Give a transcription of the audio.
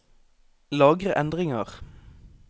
Lagre endringer